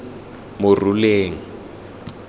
moruleng